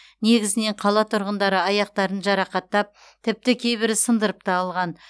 негізінен қала тұрғындары аяқтарын жарақаттап тіпті кейбірі сындырып та алған